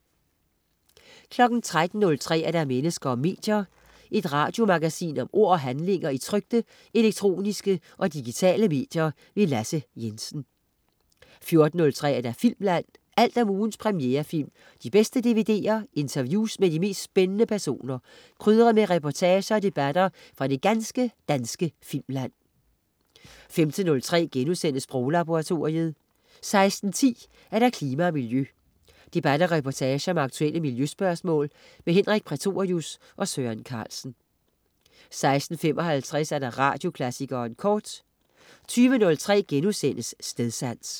13.03 Mennesker og medier. Et radiomagasin om ord og handlinger i trykte, elektroniske og digitale medier. Lasse Jensen 14.03 Filmland. Alt om ugens premierefilm, de bedste DVD'er, interviews med de mest spændende personer, krydret med reportager og debatter fra det ganske danske filmland 15.03 Sproglaboratoriet* 16.10 Klima og Miljø. Debat og reportage om aktuelle miljøspørgsmål. Henrik Prætorius og Søren Carlsen 16.55 Radioklassikeren Kort 20.03 Stedsans*